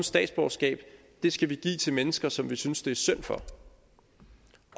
statsborgerskab skal vi give til mennesker som vi synes det er synd for